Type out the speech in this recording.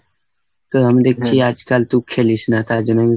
তো আমি দেখছি আজকাল তু খেলিস না, তাই জন্য